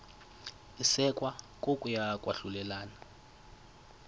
isekwa kokuya kwahlulelana